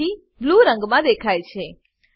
તેથી તે બ્લૂ રંગમાં દેખાય છે